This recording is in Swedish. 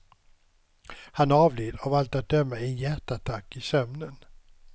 Han avled av allt att döma i en hjärtattack i sömnen.